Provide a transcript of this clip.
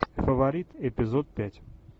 фаворит эпизод пять